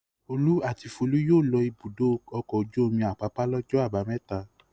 Olú àti Folú yóò lọ Ibùdó-ọkọ̀ ojú-omi Àpápá lọ́jọ́ àbámẹ́ta.